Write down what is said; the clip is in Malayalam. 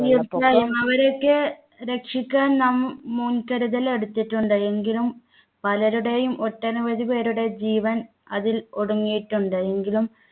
അവരൊക്കെ രക്ഷിക്കാൻ നാം മുൻകരുതൽ എടുത്തിട്ടുണ്ട് എങ്കിലും പലരുടെയും ഒട്ടനവധി പേരുടെ ജീവൻ അതിൽ ഒടുങ്ങിയിട്ടുണ്ട് എങ്കിലും